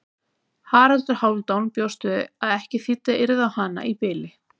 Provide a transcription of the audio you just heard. Haraldur Hálfdán bjóst við að ekki þýddi að yrða á hana í bili.